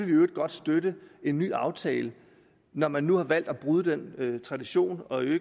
i øvrigt godt støtte en ny aftale når man nu har valgt at bryde den tradition og jeg